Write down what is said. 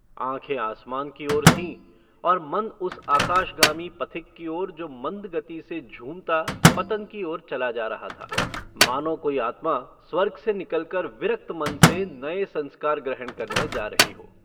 आँखें आसमान की ओर थीं और मन उस आकाशगामी पथिक की ओर जो मन्द गति से झूमता पतन की ओर चला जा रहा था मानों कोई आत्मा स्वर्ग से निकलकर विरक्त मन से नये संस्कार ग्रहण करने जा रही हो।